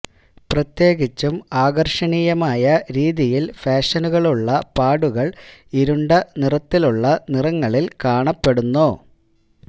പ്രത്യേകിച്ചും ആകർഷണീയമായ രീതിയിൽ ഫാഷനുകളുള്ള പാടുകൾ ഇരുണ്ട നിറത്തിലുള്ള നിറങ്ങളിൽ കാണപ്പെടുന്നു